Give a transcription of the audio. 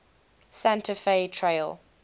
santa fe trail